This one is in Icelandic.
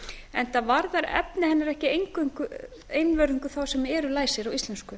enda varðar efni hennar ekki einvörðungu þá sem eru læsir á íslensku